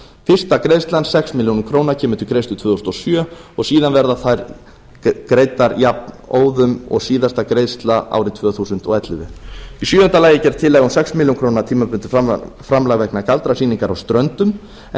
fyrsta greiðsla sex ár kemur til greiðslu tvö þúsund og sjö og síðan verða þær greiddar jafnóðum og síðasta greiðsla árið tvö þúsund og ellefu í sjöunda lagi er gerð tillaga um sex ár tímabundið framlag vegna galdrasýningar á ströndum en